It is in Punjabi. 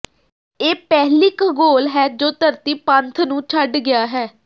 ਇਹ ਪਹਿਲੀ ਖਗੋਲ ਹੈ ਜੋ ਧਰਤੀ ਪੰਧ ਨੂੰ ਛੱਡ ਗਿਆ ਹੈ